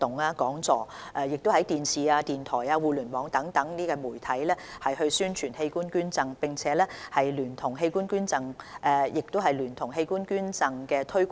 今年11月至12月期間，我們已安排一輛器官捐贈宣傳車到訪不同地點，推廣及方便市民登記器官捐贈。